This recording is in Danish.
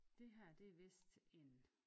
Det her det er vidst en